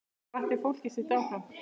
Hvatti fólkið sitt áfram.